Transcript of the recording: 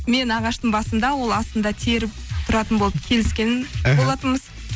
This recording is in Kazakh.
мен ағаштың басында ол астында теріп тұратын болып келіскен іхі болатынбыз